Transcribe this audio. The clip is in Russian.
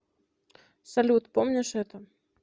салют помнишь это